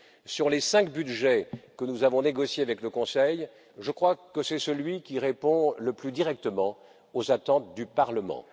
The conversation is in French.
Sur les cinq budgets que nous avons négociés avec le Conseil, je crois que c'est celui qui répond le plus directement aux attentes du Parlement.